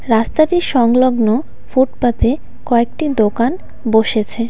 রাস্তাটির সংলগ্ন ফুটপাতে কয়েকটি দোকান বসেছে.